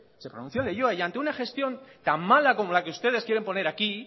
se pronunció en leioa y ante una gestión tan mala como la que ustedes quieren poner aquí